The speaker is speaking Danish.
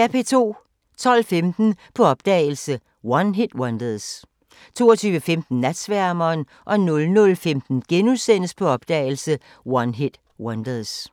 12:15: På opdagelse – One-Hit-Wonders 22:15: Natsværmeren 00:15: På opdagelse – One-Hit-Wonders *